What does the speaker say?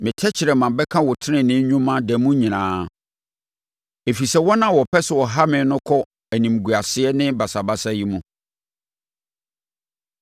Me tɛkrɛma bɛka wo tenenee nnwuma da mu nyinaa, ɛfiri sɛ wɔn a wɔpɛ sɛ wɔha me no kɔ animguaseɛ ne basabasayɛ mu.